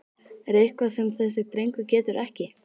Er eitthvað sem þessi drengur getur ekki?!